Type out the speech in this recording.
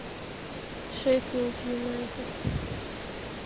шеффилд юнайтед